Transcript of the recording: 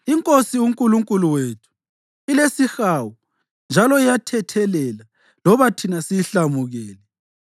INkosi uNkulunkulu wethu ilesihawu njalo iyathethelela loba thina siyihlamukele;